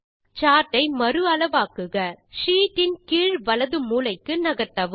சார்ட்டை மறு அளவாக்குக ஷீட் இன் கீழ் வலது மூலைக்கு நகர்த்தவும்